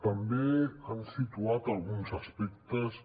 també han situat alguns aspectes que